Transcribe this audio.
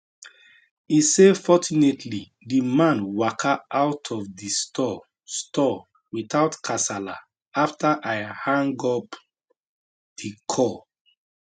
e say fortunately di man waka out of di store store without kasala afta i hang up di call